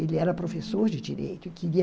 Ele era professor de direito e queria